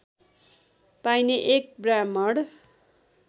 पाइने एक ब्राह्मण